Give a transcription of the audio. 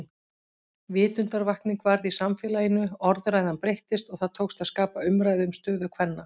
Vitundarvakning varð í samfélaginu, orðræðan breyttist og það tókst að skapa umræðu um stöðu kvenna.